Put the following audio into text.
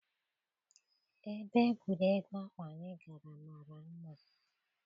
Ebe egwuregwu ahụ anyị gara mara mma.